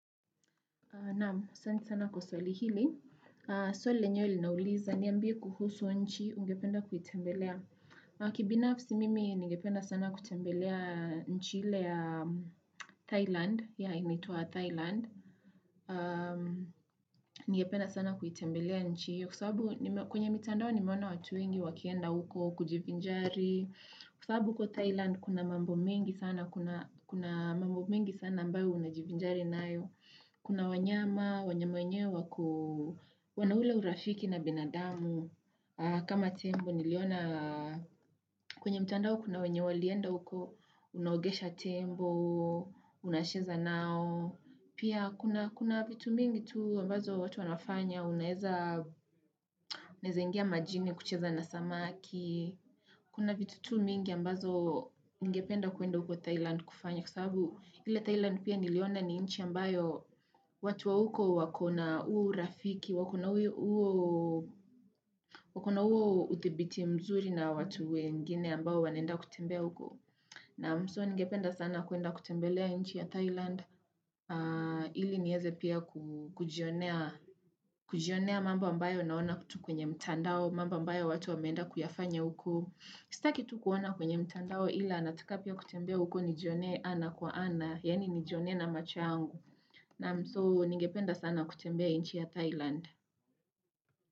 Naam, asanti sana kwa swali hili. Swali lenyewe linauliza, niambie kuhusu nchi, ungependa kuitembelea. Kibinafsi mimi, ningependa sana kutembelea nchi ile ya Thailand, yeah inaitwa Thailand. Ningependa sana kuitembelea nchi hiyo, kwa sababu kwenye mitandao nimeona watu wengi wakienda huko kujivinjari. Kwa sababu huko Thailand, kuna mambo mengi sana, kuna mambo mengi sana ambayo unajivinjari nayo. Kuna wanyama, wanyama wenyewe wako, wana ule urafiki na binadamu, kama tembo niliona, kwenye mtandao kuna wenye walienda huko, unaogesha tembo, unacheza nao, pia kuna vitu mingi tu ambazo watu wanafanya, unaeza unaeza ingia majini kucheza na samaki, kuna vitu tu mingi ambazo ningependa kwenda huko Thailand kufanya, kwa sababu ile Thailand pia niliona ni nchi ambayo watu wa huko wakona huo urafiki, wako na huo wakona huo udhibiti mzuri na watu wengine ambao wanaenda kutembea huko. Naam so ningependa sana kuenda kutembelea nchi ya Thailand, ili niweze pia kujionea mambo ambayo naona tu kwenye mtandao, mambo ambayo watu wameenda kuyafanya uko. Sitaki tu kuona kwenye mtandao ila nataka pia kutembea uko nijionee ana kwa ana, Yaani nijionee na macho yangu Naam so ningependa sana kutembea nchi ya Thailand.